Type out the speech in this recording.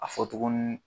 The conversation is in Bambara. A fɔ tugun